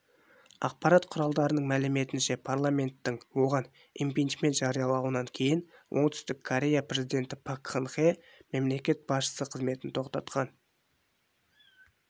ақпарат құралдарының мәліметінше парламенттің оғанимпичмент жариялауынан кейіноңтүстік корея президенті пак кын хе мемлекет басшысы қызметін тоқтатқан